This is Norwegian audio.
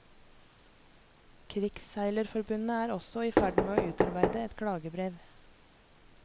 Krigsseilerforbundet er også i ferd med å utarbeide et klagebrev.